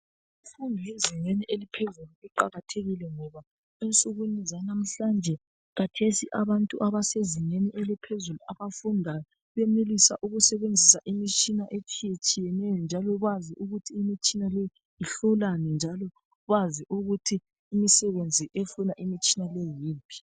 imfundo yezingeni eliphezulu iqakathekile ngoba ensukwini zalamuhlanje khathesi abantu absezingeni eliphezulu abandi benelisa ukusebenzisa imitshina etshiyeneyo njalo bazi ukuthi imitshina leyi ihlolani njalo bazi ukuthi imisebenzi efuna imitshina yiyiphi